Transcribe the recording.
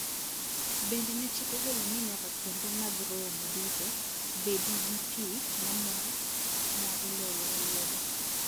Bende ne chik ogol ni nyaka kuonde mag romo duto bedi gi pii ma mol ma ilogo e lwedo.